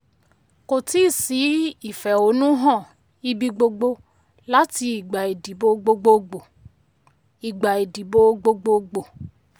kò tí sí ìfẹ̀hónúhàn ibi gbogbo láti ìgbà ìdìbò gbogboogbo. ìgbà ìdìbò gbogboogbo.